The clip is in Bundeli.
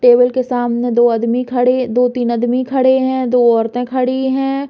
टेबल के सामने दो अदमी खड़े दो-तीन अदमी खड़े हैं दो औरतें खड़ी हैं।